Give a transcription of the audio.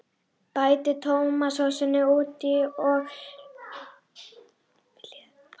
Bætið tómatsósunni út í og sjóðið smástund.